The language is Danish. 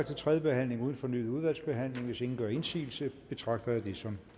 til tredje behandling uden fornyet udvalgsbehandling hvis ingen gør indsigelse betragter jeg det som